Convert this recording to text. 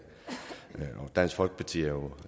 dansk folkeparti er jo